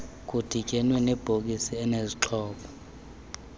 kudibane nebhokisi enezixhobo